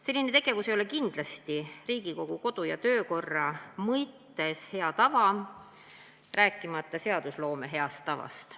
Selline tegevus ei ole kindlasti Riigikogu kodu- ja töökorra mõttes hea tava, rääkimata seadusloome heast tavast.